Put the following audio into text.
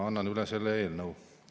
Annan selle eelnõu üle.